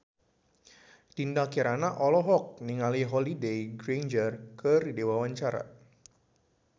Dinda Kirana olohok ningali Holliday Grainger keur diwawancara